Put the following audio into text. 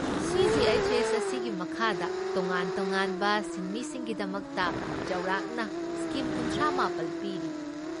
CGHS. ꯑꯁꯤꯒꯤ ꯃꯈꯥꯗ ꯇꯣꯉꯥꯟ ꯇꯣꯉꯥꯟꯕ ꯁꯤꯟꯃꯤꯁꯤꯡꯒꯤꯗꯃꯛꯇ ꯆꯥꯎꯔꯥꯛꯅ ꯁ꯭ꯀꯤꯝ ꯀꯨꯟꯊ꯭ꯔꯥꯃꯥꯄꯜ ꯄꯤꯔꯤ ꯫